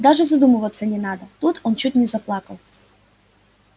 даже задумываться не надо тут он чуть не заплакал